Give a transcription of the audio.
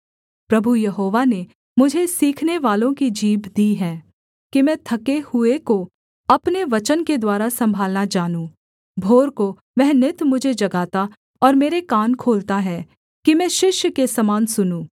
प्रभु Jehovah ने मुझे सीखनेवालों की जीभ दी है कि मैं थके हुए को अपने वचन के द्वारा सम्भालना जानूँ भोर को वह नित मुझे जगाता और मेरा कान खोलता है कि मैं शिष्य के समान सुनूँ